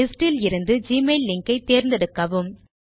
list இலிருந்து Gmail link ஐ தேர்ந்தெடுக்கவும்